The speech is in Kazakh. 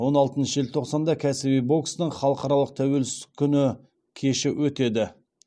он алтыншы желтоқсанда кәсіби бокстан халықаралық тәуелсіздік күні кеші өтеді